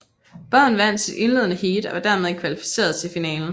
Båden vandt sit indledende heat og var dermed kvalificeret til finalen